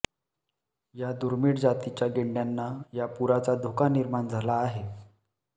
या दुर्मीळ जातीच्या गेंड्यांना या पुराचा धोका निर्माण झाला आहे